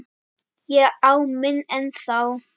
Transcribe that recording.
Ég á minn ennþá.